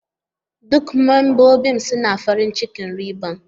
Duk membobin suna farin cikin riban.